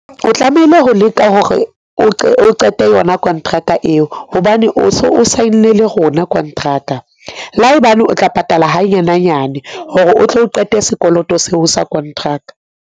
O tlamehile ho leka hore o qete yona kontraka eo hobane o so o sign-ile hona kontraka. Laebane o tla patala hanyane hanyane hore o tlo qete sekoloto seo sa kontraka.